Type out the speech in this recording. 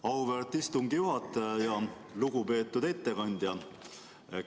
Auväärt istungi juhataja ja lugupeetud ettekandja!